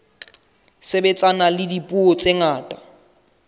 sebetsana le dipuo tse ngata